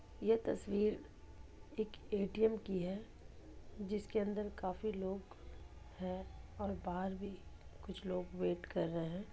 यह तस्वीर एक ए.टी.म. की हे जिसके अंदर काफी लोग हे और बहार भि कुछ लोग वेट कर रह हे।